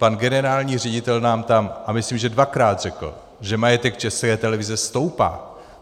Pan generální ředitel nám tam, a myslím, že dvakrát, řekl, že majetek České televize stoupá.